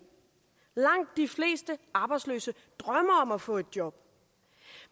langt de fleste arbejdsløse drømmer om at få et job